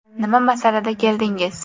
Nima masalada keldingiz?